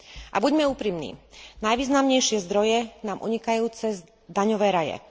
A buďme úprimní najvýznamnejšie zdroje nám unikajú cez daňové raje.